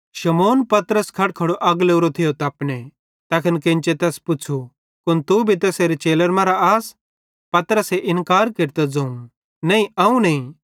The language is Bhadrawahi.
शमौन पतरस खड़खड़ो अग लोरो थियो तपने तैखन केन्चे तैस पुच़्छ़ू कुन तू भी तैसेरे चेलन मरां आस पतरस इन्कार केरतां ज़ोवं नईं अवं नईं